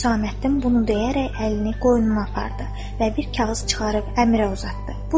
Hüsəməddin bunu deyərək əlini qoynuna apardı və bir kağız çıxarıb Əmirə uzatdı.